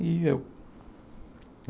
E eu.